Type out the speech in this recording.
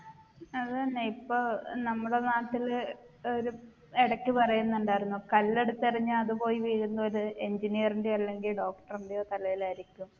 അതെന്നെ ഇപ്പൊ ഏർ നമ്മളെ നാട്ടില് ഒരു എടക്ക് പറയുന്നുണ്ടായിരുന്നു കല്ലെടുത്ത് എറിഞ്ഞാ അതുപോയി വീഴുന്നത് ഒരു engineer ൻറെയോ അല്ലെങ്കിൽ doctor ൻറെയോ തലയിൽ ആയിരിക്കും